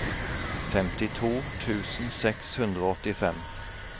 femtito tusen seks hundre og åttifem